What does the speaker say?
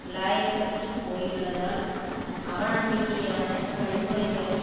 இலாயக்கற்றுப் போயுள்ளதால் அவநம்பிக்கையான வழிமுறைகளை